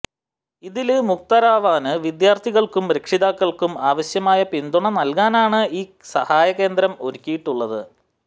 ഇതില് മുക്തരാവാന് വിദ്യാര്ത്ഥികള്ക്കും രക്ഷിതാക്കള്ക്കും ആവശ്യമായ പിന്തുണ നല്കാനാണ് ഈ സഹായകേന്ദ്രം ഒരുക്കിയിട്ടുള്ളത്